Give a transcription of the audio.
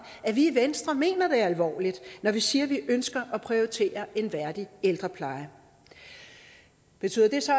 at vi i venstre mener det alvorligt når vi siger at vi ønsker at prioritere en værdig ældrepleje betyder det så